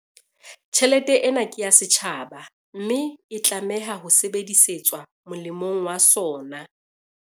Tjhelete ena ke ya setjhaba, mme e tlameha ho sebedisetswa molemong wa sona.